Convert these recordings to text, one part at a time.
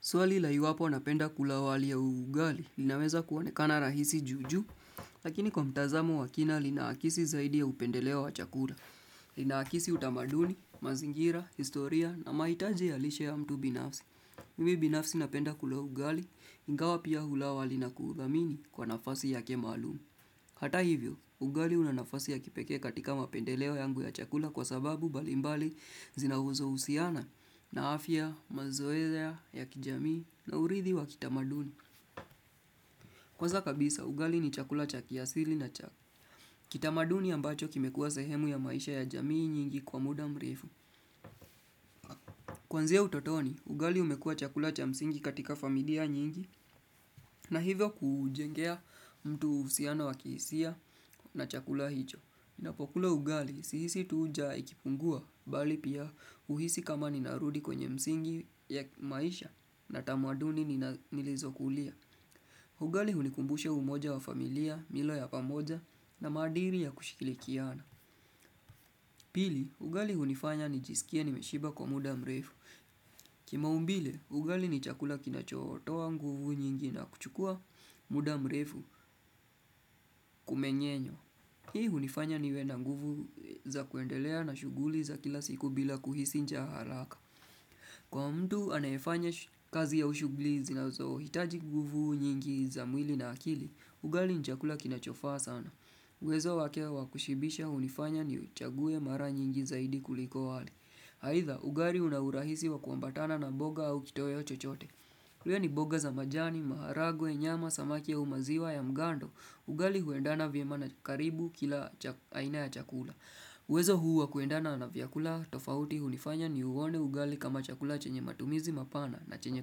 Swali la iwapo napenda kula wali au ugali linaweza kuonekana rahisi juu juu, lakini kwa mtazamo wa kina lina akisi zaidi ya upendeleo wa chakula. Lina akisi utamaduni, mazingira, historia na mahitaje ya lishe ya mtu binafsi. Mimi binafsi napenda kula ugali, ingawa pia hula wali na kuudhamini kwa nafasi yake maalumu. Hata hivyo, ugali una nafasi ya kipekee katika mapendeleo yangu ya chakula kwa sababu mbalimbali zinazohusiana na afya, mazoea ya kijamii na uridhi wa kitamaduni. Kwanza kabisa, ugali ni chakula cha kiasili na cha kitamaduni ambacho kimekuwa sehemu ya maisha ya jamii nyingi kwa muda mrefu. Kuanzia utotoni, ugali umekuwa chakula cha msingi katika familia nyingi na hivyo kujengea mtu uhusiana wa kihisia na chakula hicho. Ninapokula ugali sihisi tu njaa ikipungua bali pia huhisi kama ninarudi kwenye msingi ya maisha na tamaduni nilizokulia. Ugali hunikumbushe umoja wa familia, milo ya pamoja na madiri ya kushirikiana. Pili, ugali hunifanya nijisikie nimeshiba kwa muda mrefu. Kimaumbile, ugali nichakula kinachotoa nguvu nyingi na kuchukua muda mrefu kumenyenyo. Hii hunifanya niwe na nguvu za kuendelea na shuguli za kila siku bila kuhisi njaa haraka. Kwa mtu anayefanya kazi au shuguli zinazohitaji nguvu nyingi za mwili na akili, ugali ni chakula kinachofaa sana. Uwezo wake wa kushibisha hunifanya ni uchague mara nyingi zaidi kuliko wali. Aidha, ugali unaurahisi wa kuambatana na boga au kitoeo chochote. Kiwa ni boga za majani, maharagwe, nyama, samaki au maziwa ya mgando. Ugali huendana vyema na karibu kila aina ya chakula. Uwezo huu wa kuendana na vyakula tofauti hunifanya ni uone ugali kama chakula chenye matumizi mapana na chenye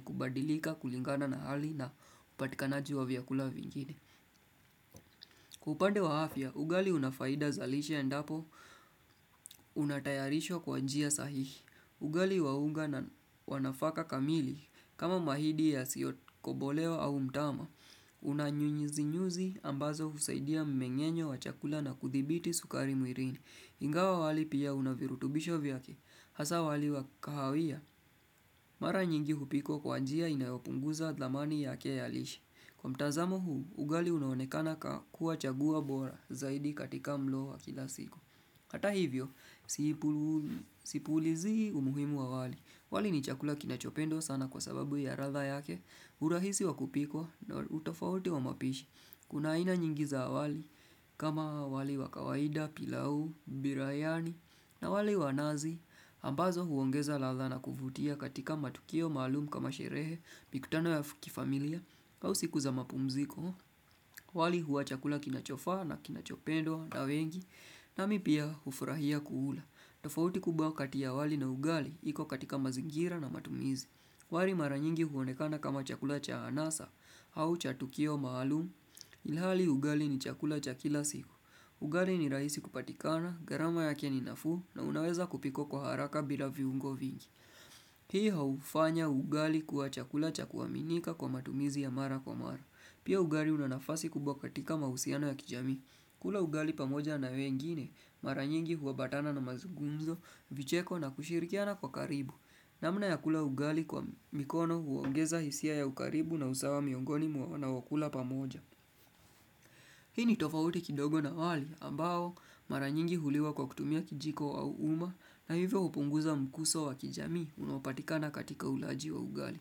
kubadilika, kulingana na hali na upatikanaji wa vyakula vingine. Kwa upande wa afya, ugali unafaida zalishe endapo unatayarishwa kwa njia sahihi. Ugali wa unga na wa nafaka kamili kama mahidi ya siyokobolewa au mtama Unanyunyizi nyuzi ambazo husaidia mmengenyo wa chakula na kuthibiti sukari mwiilini Ingawa wali pia unavirutubisho vyake Hasa wali wa kahawia Mara nyingi hupikwa kwa njia inayopunguza dlamani yake ya lishe Kwa mtazamo huu, ugali unaonekana kuwa chaguo bora zaidi katika mlo wa kila siku Hata hivyo, sipuulizii umuhimu wa wali, wali ni chakula kinachopendwa sana kwa sababu ya radha yake, urahisi wa kupikwa na utofauti wa mapishi Kuna aina nyingi za wali kama wali wa kawaida, pilau, birayani na wali wa nazi, ambazo huongeza radha na kuvutia katika matukio maalumu kama sherehe, mikutano ya kifamilia au siku za mapumziko, wali huwa chakula kinachofa na kinachopendwa na wengi na mimi pia hufurahia kuula. Tofauti kubwa kati ya wali na ugali, iko katika mazingira na matumizi. Wali mara nyingi huonekana kama chakula cha anasa au cha tukio maalumu. Ilhali ugali ni chakula cha kila siku. Ugali ni rahisi kupatikana, gharama yake ni nafuu na unaweza kupikwa kwa haraka bila viungo vingi. Hii hufanya ugali kuwa chakula cha kuaminika kwa matumizi ya mara kwa mara Pia ugali una nafasi kubwa katika mahusiano ya kijami kula ugali pamoja na wengine mara nyingi huabatana na mazugumzo vicheko na kushirikiana kwa karibu namna ya kula ugali kwa mikono huongeza hisia ya ukaribu na usawa miongoni muwana wakula pamoja Hii ni tofauti kidogo na wali ambao mara nyingi huliwa kwa kutumia kijiko au uma na hivyo hupunguza mkuso wa kijamii unopatikana katika ulaji wa ugali.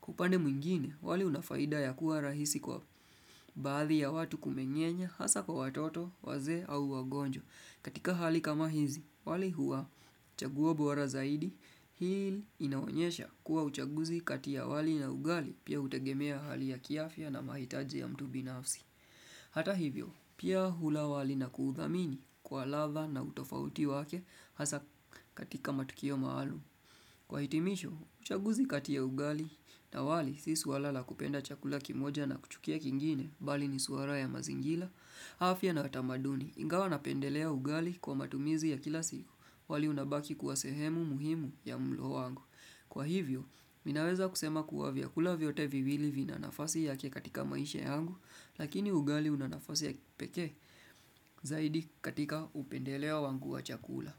Kwa upande mwingine, wali unafaida ya kuwa rahisi kwa baadhi ya watu kumengenye hasa kwa watoto, wazee au wagonjo. Katika hali kama hizi, wali huwa chaguo bora zaidi, hii inaonyesha kuwa uchaguzi kati ya wali na ugali, pia hutegemea hali ya kiafya na mahitaji ya mtu binafsi. Hata hivyo, pia hula wali na kuudhamini kwa radha na utofauti wake hasa katika matukio maalum. Kwa hitimisho, uchaguzi kati ya ugali na wali si swala la kupenda chakula kimoja na kuchukia kingine bali ni swala ya mazingila, afya na tamaduni ingawa napendelea ugali kwa matumizi ya kila siku wali unabaki kuwa sehemu muhimu ya mulo wangu. Kwa hivyo, ninaweza kusema kuwa viyakula vyote viwili vinanafasi yake katika maisha yangu, lakini ugali una nafasi ya kipekee zaidi katika upendeleo wangu wa chakula.